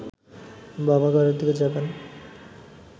বাবা ঘরের দিকে যাবেন